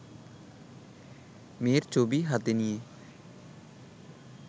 মেয়ের ছবি হাতে নিয়ে